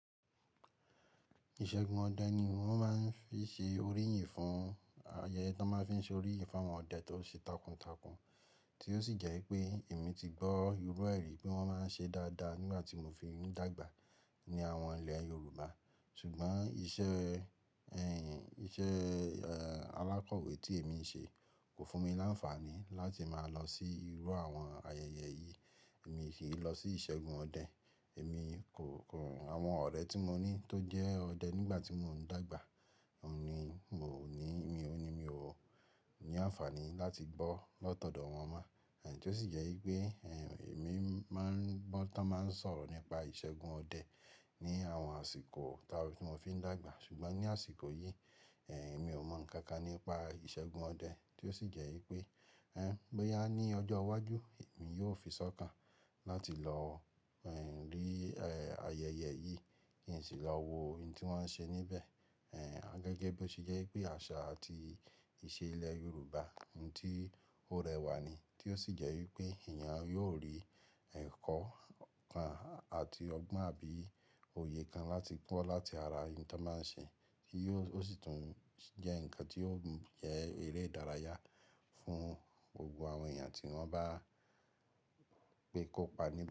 Ìṣẹ́gun ọdẹ ni wọ́n máa ń fi ṣe oríyìnì fún-- ayẹyẹ tó máa ń fi ṣe oríyìnì fún àwọn ọdẹ tó ṣe takuntakun. Tí ó sì jẹ́ pé èmi ti gbọ́ irú ẹrí e rí oè wọ́n máa ń ṣe dáadáa nígbà tí mo fi inú dàgbà ní àwọn ilẹ̀ Yorùbá. Ṣùgbọ́n iṣẹ́, ẹ́, iṣẹ́, ẹ́, alákọ̀wé tí èmi ń ṣe kò fún mi láǹfààní láti máa lọ sí irú àwọn ayẹyẹ yìí. Èmi sì ń lọ sí ìṣẹ́gun ọdẹ. Èmi kò, kò, àwọn ọ̀rẹ́ tí mo ní tó jẹ́ ọdẹ nígbà tí mò ń dàgbà, òní, mò ní, mi ò ní, mi ò ní àǹfààní láti gbọ́ lọ́tọ̀dọ̀ wọn mọ́. Ẹ̀ tí ó sì jẹ́ pé, ẹ́, èmi máa ń gbọ́ táa máa ń sọ̀rọ̀ nípa ìṣẹ́gun ọdẹ ní àwọn àsìkò táa tí mo fi ń dàgbà. Ṣùgbọ́n ní àsìkò yìí, ẹ́, mi ò mọ nǹkan kan nípa ìṣẹ́gun ọdẹ. Tí ó sì jẹ́ pé, ẹ́, bóyá ní ọjọ́ iwájú, èmi yóò fisọ́kàn láti lọ, ẹ́, rí, ẹ́, ayẹyẹ yìí. Kí n sì lọ wo ohun tí wọ́n ṣe níbẹ̀. Ẹ̀, a gẹ́gẹ́ bó ti jẹ́ pé àṣà àti ìṣe ilẹ̀ Yorùbá, ohun tí ó rẹwà ni. Tí ó sì jẹ́ wípé èèyàn yóò rí ẹ̀kọ́ kan àti ọgbọ́n àbí òye kan láti kó láti ara ohun tí wọ́n máa ń ṣe. Kí yó, ó sì tún jẹ́ nǹkan tí ó ń jẹ́ eré ìdárayá fún gbogbo àwọn èèyàn tí wọ́n bá pé kópa ní.